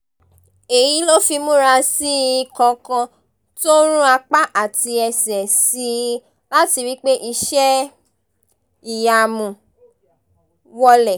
èyí ló fi múra sí i kankan tó rún apá àti ẹsẹ̀ sí i láti rí i pé iṣẹ́-ìyamù wọ̀lẹ̀